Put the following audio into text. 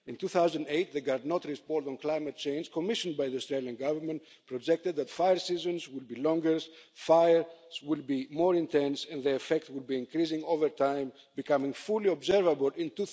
In 2008, the Garnaut report on climate change commissioned by the Australian Government projected that fire seasons would be longer, fires would be more intense and their effect would increase over time, becoming fully observable in